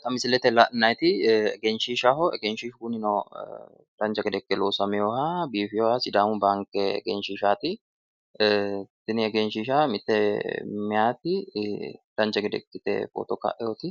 Xa misilete la'nayiti egenshiishaho egenshiishu kunino dancha gede ikke loosamewoha sidaamu baanke egenshiishaati tini egenshiisha mitte meyaati dancha gede ikkete footo ka'ewooti